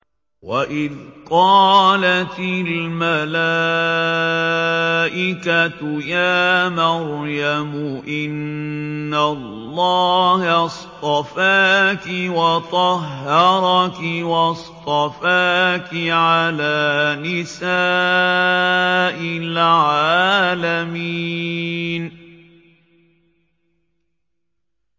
وَإِذْ قَالَتِ الْمَلَائِكَةُ يَا مَرْيَمُ إِنَّ اللَّهَ اصْطَفَاكِ وَطَهَّرَكِ وَاصْطَفَاكِ عَلَىٰ نِسَاءِ الْعَالَمِينَ